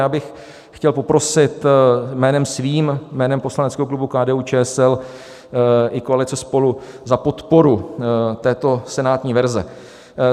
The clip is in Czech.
Já bych chtěl poprosit jménem svým, jménem poslaneckého klubu KDU-ČSL i koalice SPOLU o podporu této senátní verze.